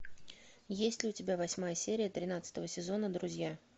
есть ли у тебя восьмая серия тринадцатого сезона друзья